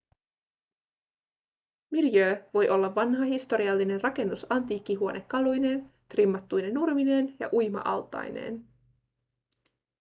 miljöö voi olla vanha historiallinen rakennus antiikkihuonekaluineen trimmattuine nurmineen ja uima-altaineen